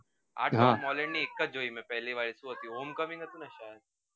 આ Tom Holland ની એકજ જોઈ મે પહલી વાડી home coming